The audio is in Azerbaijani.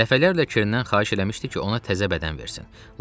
Dəfələrlə Kerndən xahiş eləmişdi ki, ona təzə bədən versin.